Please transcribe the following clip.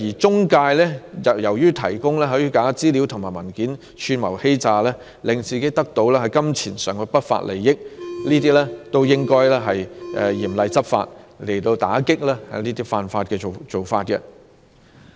中介藉着提供虛假資料和文件及串謀欺詐，也令自己得到金錢上的不法利益，這些均是應該嚴厲執法，加強打擊的犯法行為。